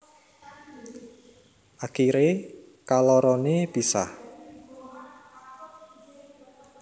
Akiré kaloroné pisah